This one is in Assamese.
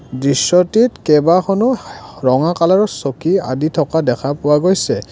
দৃশ্যটিত কেইবাখনো ৰঙা কালাৰৰ চকী আদি থকা দেখা পোৱা গৈছে।